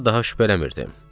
Buna daha şübhələnmirdim.